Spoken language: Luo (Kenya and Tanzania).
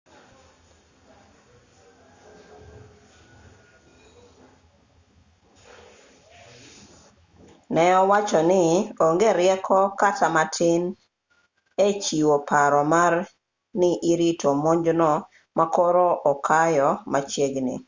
ne owacho ni onge rieko kata matin e chiwo paro mar ni irito monjno ma koro okayo machiegni